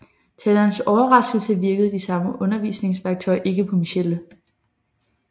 Til hans overraskelse virkede de samme undervisningsværktøjer ikke på Michelle